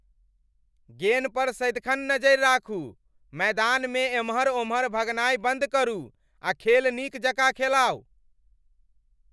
गेन पर सदिखन नजरि राखू! मैदानमे एमहर ओमहर भगनाइ बन्द करू आ खेल नीक जकाँ खेलाउ।